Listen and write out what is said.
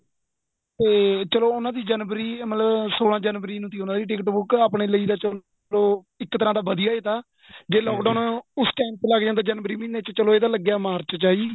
ਤੇ ਚਲੋਂ ਉਹਨਾ ਦੀ ਜਨਵਰੀ ਮਤਲਬ ਸੋਲਾਂ ਜਨਵਰੀ ਨੂੰ ਤੀ ਉਹਨਾ ਦੀ ticket ਬੁੱਕ ਆਪਣੇਂ ਲਈ ਤਾਂ ਚਲੋਂ ਇੱਕ ਤਰ੍ਹਾਂ ਦਾ ਵਧੀਆ ਹੀ ਤਾਂ ਜੇ lock down ਉਸ time ਲੱਗ ਜਾਂਦਾ ਜਨਵਰੀ ਮਹੀਨੇ ਚ ਚਲੋਂ ਏ ਲਗਿਆ ਤਾਂ ਮਾਰਚ ਚ ਹੈ ਜੀ